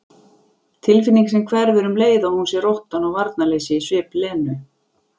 Tilfinning sem hverfur um leið og hún sér óttann og varnarleysið í svip Lenu.